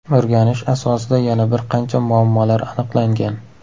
O‘rganish asosida yana bir qancha muammolar aniqlangan.